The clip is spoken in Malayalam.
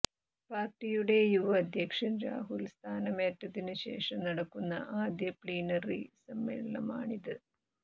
പാർട്ടിയുടെ യുവ അധ്യക്ഷൻ രാഹുൽ സ്ഥാനമേറ്റതിനു ശേഷം നടക്കുന്ന ആദ്യ പ്ലീനറി സമ്മേളനമാണിത്